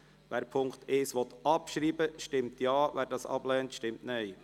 Wer den Punkt 1 abschreiben will, stimmt Ja, wer dies ablehnt, stimmt Nein.